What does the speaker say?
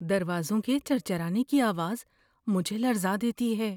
دروازوں کے چرچرانے کی آواز مجھے لرزا دیتی ہے۔